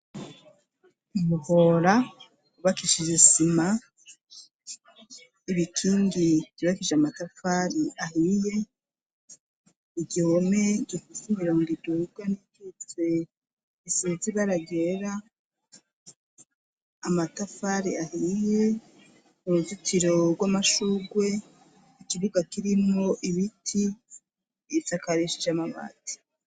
Hora ubakishije isima ibikingi gibakije amatafari ahiye igihome gifisa imirongo idurwa n'ikitse isizibaragera amatafari ahiye uruzukie jorwa amashugwe ikibuga kirinko ibiti bisakareshi j'amabati.